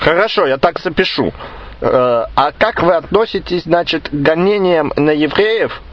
хорошо я так запишу а как вы относитесь значит к гонениям на евреев